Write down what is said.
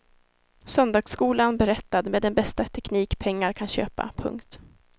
Söndagsskolan berättad med den bästa teknik pengar kan köpa. punkt